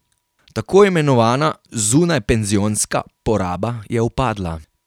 Tako imenovana zunajpenzionska poraba je upadla.